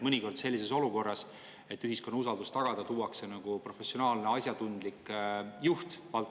Mõnikord tuuakse sellises olukorras, selleks et tagada ühiskonna usaldus, valdkonda juhtima professionaalne, asjatundlik juht.